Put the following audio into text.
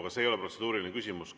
Aga see ei olnud protseduuriline küsimus.